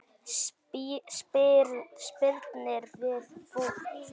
Spyrnir við fótum.